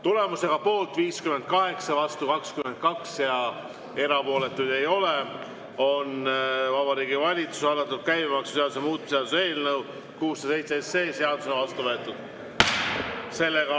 Tulemusega poolt 58, vastu 22 ja erapooletuid ei ole, on Vabariigi Valitsuse algatatud käibemaksuseaduse muutmise seaduse eelnõu 607 seadusena vastu võetud.